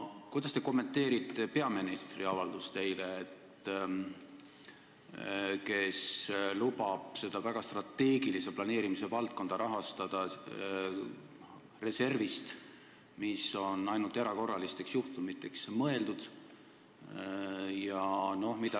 Kuidas te kommenteerite peaministri eile tehtud avaldust, kus ta lubab seda strateegilise planeerimise valdkonda rahastada reservist, mis on mõeldud ainult erakorralisteks juhtumiteks?